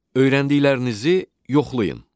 Öyrəndiklərinizi yoxlayın.